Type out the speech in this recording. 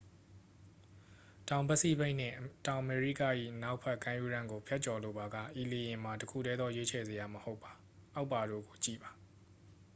တောင်ပစိဖိတ်နှင့် တောင်အမေရိက၏ အနောက်ဘက် ကမ်းရိုးတန်းကို ဖြတ်ကျော်လိုပါက ဤလေယာဉ်မှာ တစ်ခုတည်းသော ရွေးချယ်စရာ မဟုတ်ပါ။ အောက်ပါတို့ကို ကြည့်ပါ